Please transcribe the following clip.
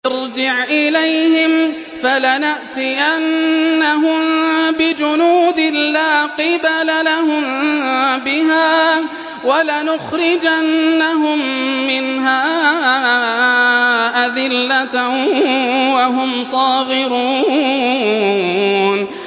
ارْجِعْ إِلَيْهِمْ فَلَنَأْتِيَنَّهُم بِجُنُودٍ لَّا قِبَلَ لَهُم بِهَا وَلَنُخْرِجَنَّهُم مِّنْهَا أَذِلَّةً وَهُمْ صَاغِرُونَ